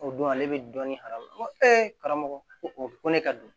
O don ale bɛ dɔɔnin fara o kan n ko ee karamɔgɔ ko ko ne ka don